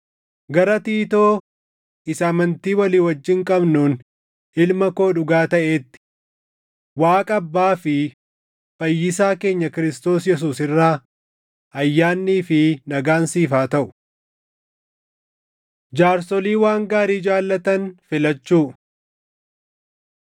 Gara Tiitoo isa amantii walii wajjin qabnuun ilma koo dhugaa taʼeetti: Waaqa Abbaa fi Fayyisaa keenya Kiristoos Yesuus irraa ayyaannii fi nagaan siif haa taʼu. Jaarsolii Waan Gaarii Jaallatan Filachuu